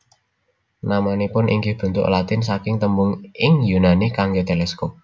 Namanipun inggih bentuk Latin saking tembung ing Yunani kangge teleskop